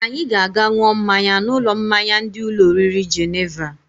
Anyị ga-aga n̄ụọ mmanya n'ụlọ mmanya ndị ụlọ oriri Jeneva.